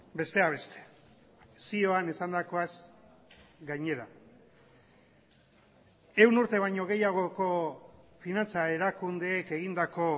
besteak beste zioan esandakoaz gainera ehun urte baino gehiagoko finantza erakundeek egindako